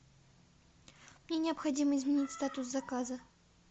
мне необходимо изменить статус заказа